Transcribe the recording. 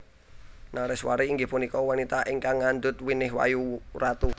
Nareswari inggih punika wanita ingkang ngandhut winih wayu ratu